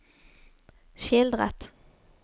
skildret